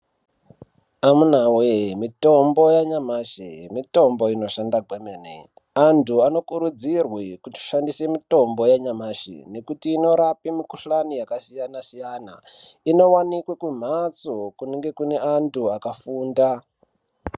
Amunawee mitombo yanyamashi mitombo inoshanda kwemene anthu anokurudzirwe kushandise mitombo yanyamashi nekuti inorape mikuhlani yakasiyana-siyana, inowanikwe kumhatso kunenge kune anthu akafunda.